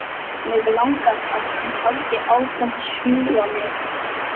Mig langar að hann haldi áfram að sjúga mig.